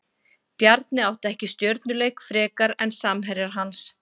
Bjarni átti ekki stjörnuleik frekar en samherjar hans.